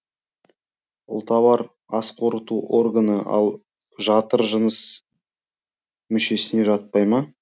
ұлтабар ас қорыту органы ал жатыр жыныс мүшесіне жатпай ма